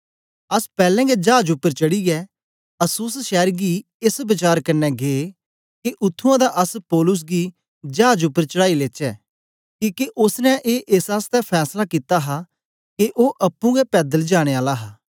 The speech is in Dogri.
अस पैलैं गै चाज उपर चढ़ीयै अस्सुस शैर गी एस वचार कन्ने गै के उत्त्थुआं दा अस पौलुस गी चाज उपर चढ़ाई लेचै किके ओसने ए एस आसतै फैसला कित्ता हा के ओ अप्पुं गै पैदल जाने आला हा